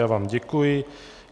Já vám děkuji.